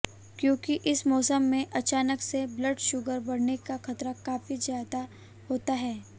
क्योंकि इस मौसम में अचानक से ब्लड शुगर बढ़ने का खतरा काफी ज्यादा होता है